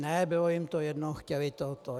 Ne, bylo jim to jedno, chtěli to.